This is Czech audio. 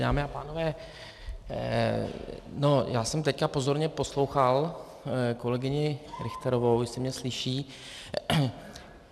Dámy a pánové, já jsem teď pozorně poslouchal kolegyni Richterovou, jestli mě slyší.